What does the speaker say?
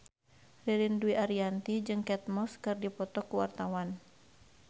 Ririn Dwi Ariyanti jeung Kate Moss keur dipoto ku wartawan